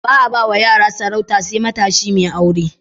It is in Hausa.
Ba'a bawa yara sarauta sai matashi mai aure.